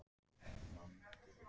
Upplýsingar um komur og brottfarir